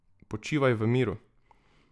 Počivaj v miru.